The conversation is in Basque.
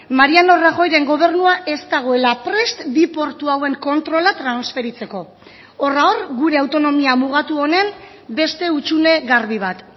mariano rajoyren gobernua ez dagoela prest bi portu hauen kontrola transferitzeko horra hor gure autonomia mugatu honen beste hutsune garbi bat